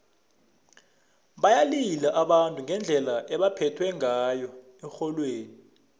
bayalila abantu ngendlela ebebaphethwe ngayo erholweni